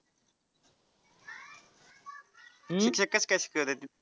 शिक्षक कस काय शिकवतात तिथं?